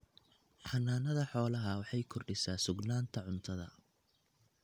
Xanaanada xoolaha waxay kordhisaa sugnaanta cuntada.